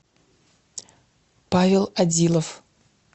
павел одилов